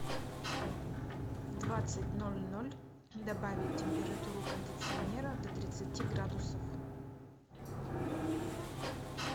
в двадцать ноль ноль добавить температуру кондиционера до тридцати градусов